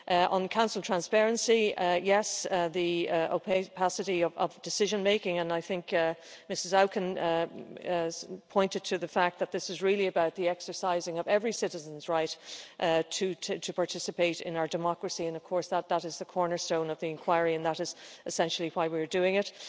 On Council transparency yes, on the opacity of decision making, I think Ms Auken pointed to the fact that this is really about the exercising of every citizen's right to participate in our democracy, and of course that is the cornerstone of the inquiry and that is essentially why we're doing it.